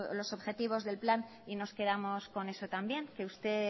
los objetivos del plan y nos quedamos con eso también usted